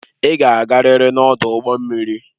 Ị ga-agarịrị n'ọdụ ụgbọ mmiri!